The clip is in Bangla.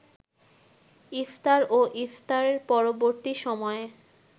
ইফতার ও ইফতার পরবর্তী সময়ে